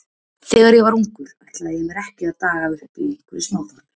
Þegar ég var ungur ætlaði ég mér ekki að daga uppi í einhverju smáþorpi.